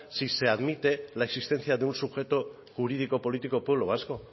si se admite la existencia de un sujeto jurídico político pueblo vasco